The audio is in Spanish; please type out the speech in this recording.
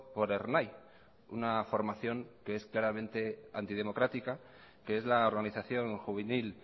por ernai una formación que es claramente antidemocrática que es la organización juvenil